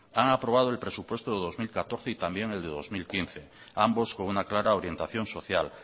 han aprobado el presupuesto de dos mil catorce y también el de dos mil quince ambos con una clara orientación social